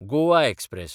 Goa express